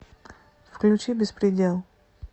включи беспредел